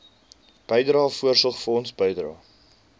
bydrae voorsorgfonds bydrae